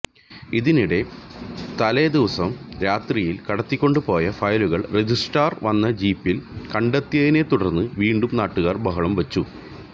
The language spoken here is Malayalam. ഇതിനിടെ തലേദിവസം രാത്രിയില് കടത്തിക്കൊണ്ടുപോയ ഫയലുകള് രജിസ്ട്രാര് വന്ന ജിപ്പില് കണ്ടതിനെത്തുടര്ന്ന് വീണ്ടും നാട്ടുകാര് ബഹളം വച്ചു